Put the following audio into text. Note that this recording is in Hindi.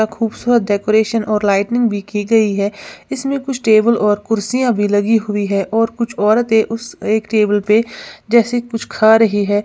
खूबसूरत डेकोरेशन और लाइटनिंग भी की गई है इसमें कुछ टेबल और कुर्सियां भी लगी हुई है और कुछ औरतें उस एक टेबल पे जैसे कुछ खा रही है।